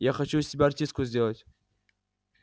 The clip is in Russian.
я хочу из тебя артистку сделать